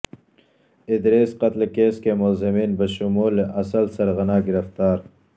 ادریس قتل کیس کے ملزمین بشمول اصل سرغنہ گرفتار